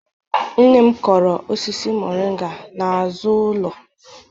Nne m kụrụ osisi moringa n'azu ulo.